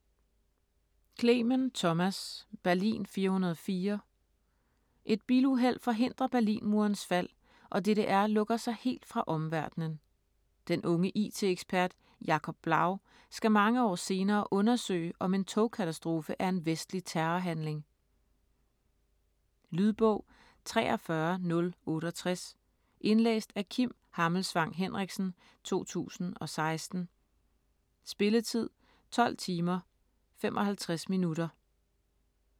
Clemen, Thomas: Berlin 404 Et biluheld forhindrer Berlinmurens fald og DDR lukker sig helt fra omverdenen. Den unge it-ekspert Jacob Blau skal mange år senere undersøge, om en togkatastrofe er en vestlig terrorhandling. Lydbog 43068 Indlæst af Kim Hammelsvang Henriksen, 2016. Spilletid: 12 timer, 55 minutter.